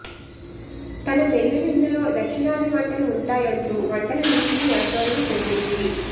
తన పెళ్లి విందులో దక్షిణాధి వంటలు ఉంటాయంటూ వంటల లిస్టును ఏకరవుపెట్టింది